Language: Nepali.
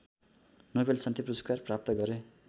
नोबेल शान्ति पुरस्कार प्राप्त गरे